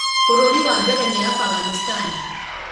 bũrũri wa mbere ni Afghanistan